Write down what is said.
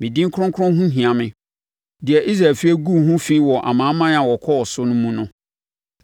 Me din kronkron ho hia me, deɛ Israel efie guu ho fi wɔ amanaman a wɔkɔɔ so mu no.